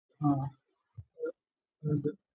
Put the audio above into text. ആഹ്